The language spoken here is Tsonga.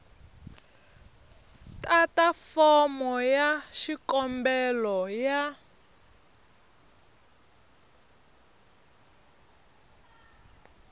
tata fomo ya xikombelo ya